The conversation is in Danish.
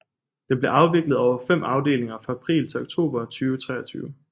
Den bliver afviklet over fem afdelinger fra april til oktober 2023